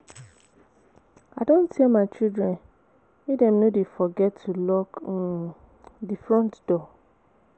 I don tell my children make dem no dey forget to lock um the front door